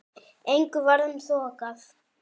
Engu varð um þokað.